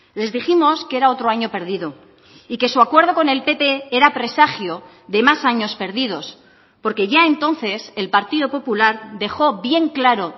les dijimos que era otro año perdido y que su acuerdo con el pp era presagio de más años perdidos porque ya entonces el partido popular dejó bien claro